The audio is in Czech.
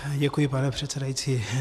Děkuji, pane předsedající.